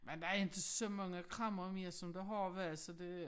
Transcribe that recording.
Men der er inte så mange kræmmere mere som der har været så det